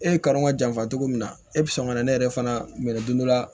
E ye kadɔw janfa cogo min na e bi sɔn ka na ne yɛrɛ fana minɛ don dɔ la